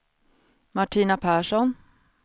Martina Persson